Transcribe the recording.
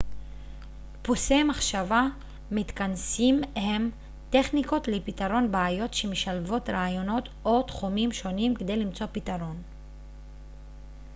דפוסי מחשבה מתכנסים הם טכניקות לפתרון בעיות שמשלבות רעיונות או תחומים שונים כדי למצוא פתרון